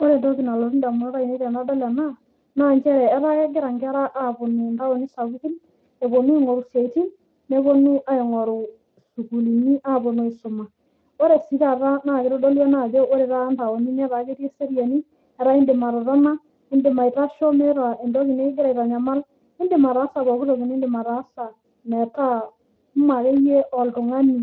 Ore entoki nalotu ndamunot ainei tenadol ena, naa nchere etaa kegira nkera aapuonu ntaoni sapuki epuonu aing'oru siaitin, nepuonu aing'oru sukuulini aapuonu aisoma. Ore sii taata naa keitodolu ena ajo ore taata ntaonini naa ketii eseriani, etaa indim atotona, indim aitasho meeta entoki nikigira aitanyamal indim ataasa pooki toki niindim ataasa metaa mee akeyie oltung'ani